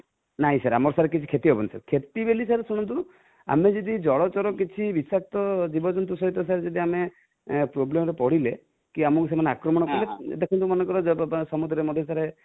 ନାଇ sir କିଛି କ୍ଷତି ହେବନି sir, କ୍ଷତି ବୋଲି sir ଶୁଣନ୍ତୁ ଆମେ ଯଦି ଜଳଚର କିଛି ବିଷାକ୍ତ ଜୀବଜନ୍ତୁ ସହିତ sir ଯଦି ଆମେ problem ରେ ପଡିଲେ କି ଆମକୁ ସେମାନେ ଆକ୍ରମଣ କଲେ, ଦେଖନ୍ତୁ ମନେକର ଯଦି ସମୁଦ୍ର ରେ ମଧ୍ୟ sir